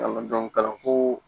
kalanso